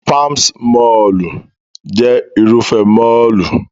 Palms mọ́ọ̀lù jẹ́ Irúfẹ́ mọ́ọ̀lù